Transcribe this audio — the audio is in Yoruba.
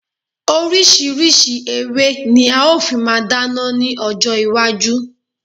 Orísirísi ewé ní a ò fi máa dáná ni ọjọ iwájú